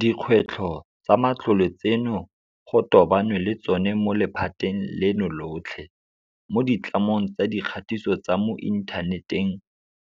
Dikgwetlho tsa matlole tseno go tobanwe le tsona mo lephateng leno lotlhe, mo ditlamong tsa dikgatiso tsa mo inthaneteng